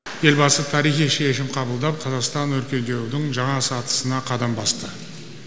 елбасы тарихи шешім қабылдап қазақстан өркендеудің жаңа сатысына қадам басты